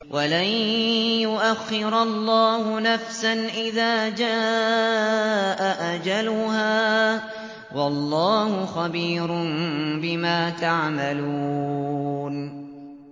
وَلَن يُؤَخِّرَ اللَّهُ نَفْسًا إِذَا جَاءَ أَجَلُهَا ۚ وَاللَّهُ خَبِيرٌ بِمَا تَعْمَلُونَ